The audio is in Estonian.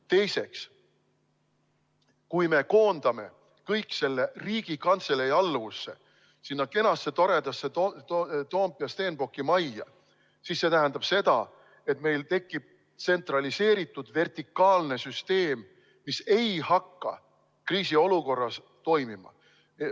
Teiseks, kui me koondame kõik selle Riigikantselei alluvusse, sinna kenasse, toredasse Stenbocki majja Toompeal, siis see tähendab seda, et meil tekib tsentraliseeritud vertikaalne süsteem, mis ei hakka kriisiolukorras toimima.